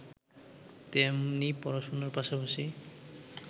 তেমনি পড়াশোনার পাশাপাশি